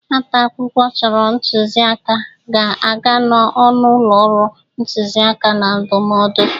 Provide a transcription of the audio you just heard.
Nwata akwụkwọ chọrọ ntụzị aka ga-aga n'ọnụ ụlọ ọrụ ntụzị aka na ndụmọdụ.